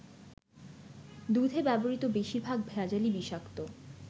দুধে ব্যবহৃত বেশিরভাগ ভেজালই বিষাক্ত।